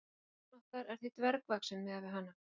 Sólin okkar er því dvergvaxin miðað við hana.